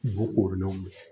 Wo koorolenw bɛ yen